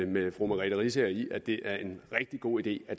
med fru merete riisager i at det er en rigtig god idé at